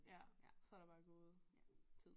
Ja så der bare gået tid